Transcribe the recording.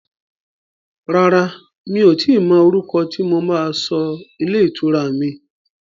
Rárá, mi ò tíì mọ orúkọ tí mo máa sọ ilé ìtura mi.